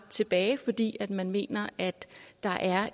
tilbage fordi man mener at der er